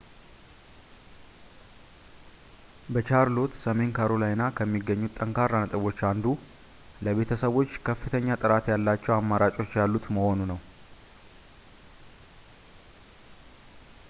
በቻርሎት ሰሜን ካሮላይና ከሚገኙት ጠንካራ ነጥቦች አንዱ ለቤተሰቦች ከፍተኛ ጥራት ያላቸው አማራጮች ያሉት መሆኑ ነው